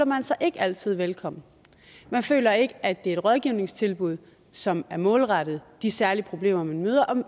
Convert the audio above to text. man sig ikke altid velkommen man føler ikke at det er et rådgivningstilbud som er målrettet de særlige problemer man møder og